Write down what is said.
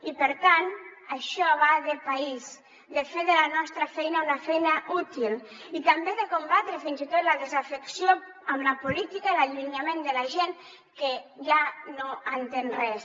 i per tant això va de país de fer de la nostra feina una feina útil i també de combatre fins i tot la desafecció per la política i l’allunyament de la gent que ja no entén res